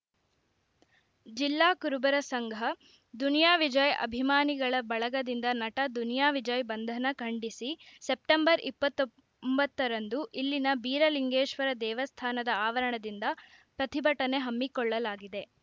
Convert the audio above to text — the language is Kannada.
ಜಿಲ್ಲಾ ಕುರುಬರ ಸಂಘ ದುನಿಯಾ ವಿಜಯ್‌ ಅಭಿಮಾನಿಗಳ ಬಳಗದಿಂದ ನಟ ದುನಿಯಾ ವಿಜಯ್‌ ಬಂಧನ ಖಂಡಿಸಿ ಸೆಪ್ಟೆಂಬರ್ ಇಪ್ಪತ್ ತೊಂಬತ್ತರೆಂದು ಇಲ್ಲಿನ ಬೀರಲಿಂಗೇಶ್ವರ ದೇವಸ್ಥಾನದ ಆವರಣದಿಂದ ಪ್ರತಿಭಟನೆ ಹಮ್ಮಿಕೊಳ್ಳಲಾಗಿದೆ